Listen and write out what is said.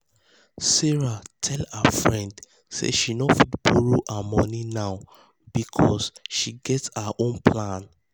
sarah tell her friend say she no fit borrow um her money now because she get her um own plan.